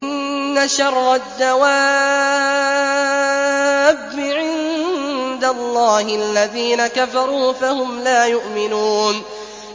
إِنَّ شَرَّ الدَّوَابِّ عِندَ اللَّهِ الَّذِينَ كَفَرُوا فَهُمْ لَا يُؤْمِنُونَ